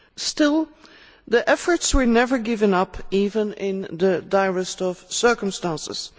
Still, the efforts were never given up, even in the direst of circumstances.